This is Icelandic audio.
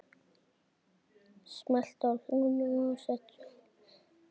Hann var sleginn með orfi.